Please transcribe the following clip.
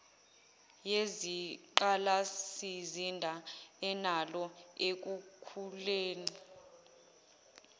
yezingqalasizinda enalo ekukhuleni